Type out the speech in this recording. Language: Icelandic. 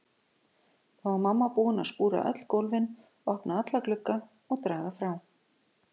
Þá var mamma búin að skúra öll gólfin, opna alla glugga og draga frá.